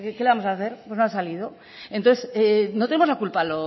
qué le vamos a hacer pues no ha salido entonces no tenemos la culpa